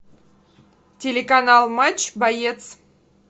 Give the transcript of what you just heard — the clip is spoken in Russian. телеканал матч боец